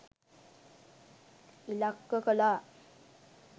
ඉලක්ක කළා